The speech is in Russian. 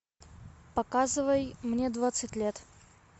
показывай мне двадцать лет